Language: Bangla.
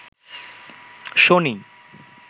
শনি